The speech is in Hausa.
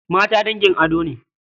Mata dangin ado ne.